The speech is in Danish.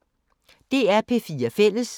DR P4 Fælles